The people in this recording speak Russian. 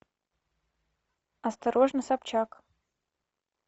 осторожно собчак